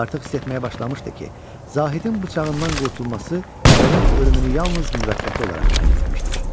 Artıq hiss etməyə başlamışdı ki, Zahidin bıçağından qurtulması onun ölümünü yalnız müvəqqəti olaraq ləngitmişdir.